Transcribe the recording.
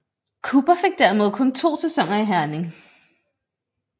Cooper fik dermed kun to sæsoner i Herning